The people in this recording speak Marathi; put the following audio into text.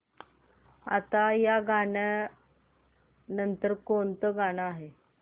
आता या नंतर कोणतं गाणं आहे